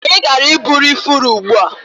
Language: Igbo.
Anyị gara iburu ifuru ugbua.